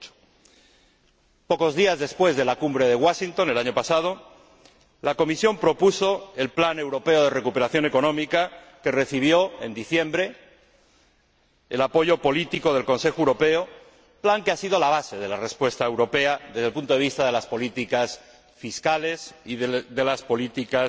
2008. Pocos días después de la Cumbre de Washington, el año pasado, la Comisión propuso el Plan Europeo de Recuperación Económica, que recibió en diciembre el apoyo político del Consejo Europeo, plan que ha sido la base de la respuesta europea desde el punto de vista de las políticas fiscales y de las políticas